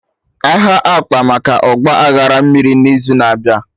Aha akpa maka Ọgba aghara mmiri n'izu na-abịa